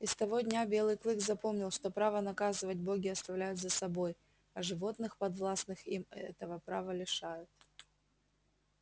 и с того дня белый клык запомнил что право наказывать боги оставляют за собой а животных подвластных им этого права лишают